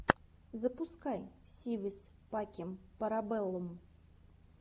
запускай си вис пакэм пара бэллум